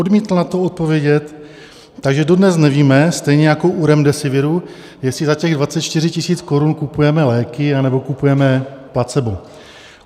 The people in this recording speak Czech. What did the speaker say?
Odmítl na to odpovědět, takže dodnes nevíme, stejně jako u Remdesiviru, jestli za těch 24 000 korun kupujeme léky, anebo kupujeme placebo.